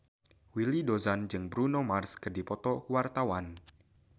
Willy Dozan jeung Bruno Mars keur dipoto ku wartawan